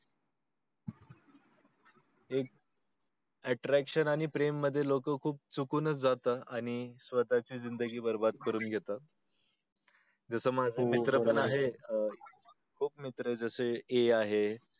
एक attraction मध्ये आणि प्रेमा मध्ये लोक खूप चुकून च जातात आणि लोकांन ची जिंदगी बरबाद करून घेतात ज्याच्यामुळे मित्र पण आहे एक खूप मित्र आहे अशे आहे